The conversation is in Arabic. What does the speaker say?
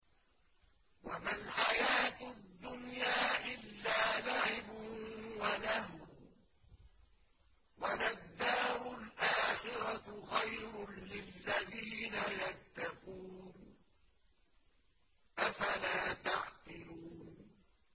وَمَا الْحَيَاةُ الدُّنْيَا إِلَّا لَعِبٌ وَلَهْوٌ ۖ وَلَلدَّارُ الْآخِرَةُ خَيْرٌ لِّلَّذِينَ يَتَّقُونَ ۗ أَفَلَا تَعْقِلُونَ